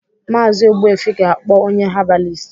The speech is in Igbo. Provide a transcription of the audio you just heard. Maazi Ogbuefi ga-akpọ onye habalist